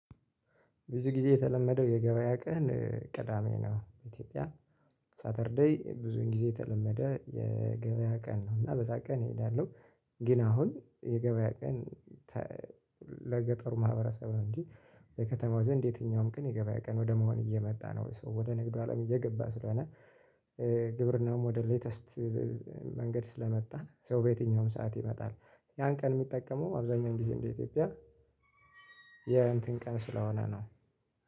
ብዙ ጊዜ የተለመደው የገበያ ቀን ቅዳሜ ነው ኢትዮጵያ ሳተርዴይ ብዙን ጊዜ የተለመደ የገበያ ቀን ነው እና በዛ ቀን እሄዳለሁ። ግን አሁን የገበያ ቀን። ለገጠሩ ማህበረሰብ ነው እንጂ የከተማው ዘንድ የትኛውም ቀን የገባ ቀን ወደ መሆን እየመጣ ነው ወይ? ሰው ወደ ንግዱ አለም እየገባ ስለሆነ። ግብርናውም ወደ ሌተስት። መንገድ ስለመጣ በየትኛውም ሰዓት ይመጣል ያን ቀን የሚጠቀመው አብዛኛው ግዜ እንደ ኢትዮጵያ። የእንትን ቀን ስለሆነ ነው።